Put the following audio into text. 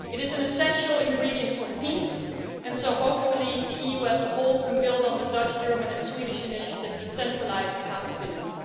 That is an essential ingredient for peace, and so hopefully the EU as a whole can build on the Dutch, German and Swedish initiative to centralise accountability.